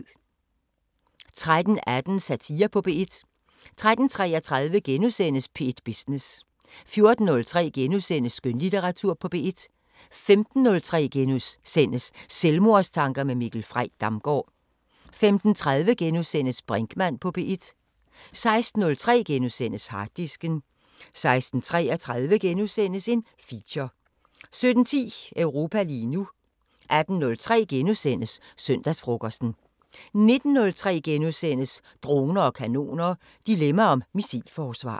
13:18: Satire på P1 13:33: P1 Business * 14:03: Skønlitteratur på P1 * 15:03: Selvmordstanker med Mikkel Frey Damgaard * 15:30: Brinkmann på P1 * 16:03: Harddisken * 16:33: Feature 17:10: Europa lige nu 18:03: Søndagsfrokosten * 19:03: Droner og kanoner: Dilemma om missilforsvar *